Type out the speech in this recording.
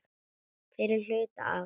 Fyrri hluta árs.